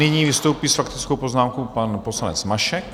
Nyní vystoupí s faktickou poznámkou pan poslanec Mašek.